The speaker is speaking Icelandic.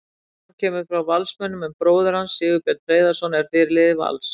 Jóhann kemur frá Valsmönnum en bróðir hans, Sigurbjörn Hreiðarsson er fyrirliði Vals.